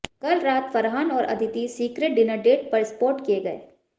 कल रात फरहान और अदिति सीक्रेंट डिनर डेट पर स्पॉट किए गए